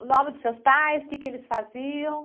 O nome dos seus pais, o quê que eles faziam?